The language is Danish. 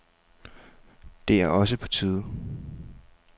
Det er også på tide.